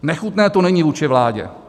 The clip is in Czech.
Nechutné to není vůči vládě.